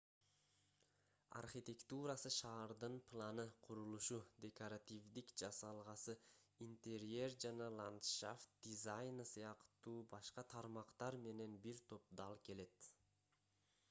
архитектурасы шаардын планы курулушу декоративдик жасалгасы интерьер жана ландшафт дизайны сыяктуу башка тармактар менен бир топ дал келет